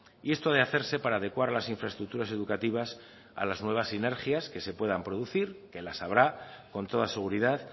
y esto de hacerse para adecuar las infraestructuras educativas a las nuevas sinergias que se puedan producir que las habrá con toda seguridad